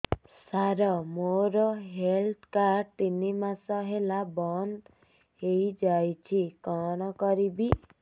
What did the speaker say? ସାର ମୋର health card ତିନି ମାସ ହେଲା ବନ୍ଦ ହେଇଯାଇଛି କଣ କରିବି